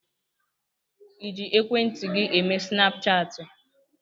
Ịji ekwentị gị eme snapchaatị?